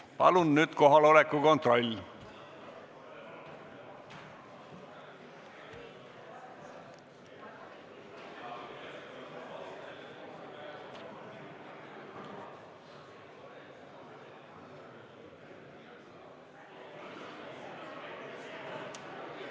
Palun nüüd kohaloleku kontroll!